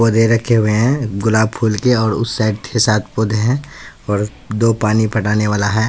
बोरे रखे हुए हैं गुलाब फूल के और उस साइड छह सात पौधे हैं दो पानी पड़ाने वाला है।